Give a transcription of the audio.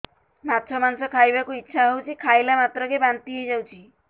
ମାଛ ମାଂସ ଖାଇ ବାକୁ ଇଚ୍ଛା ହଉଛି ଖାଇଲା ମାତ୍ରକେ ବାନ୍ତି ହେଇଯାଉଛି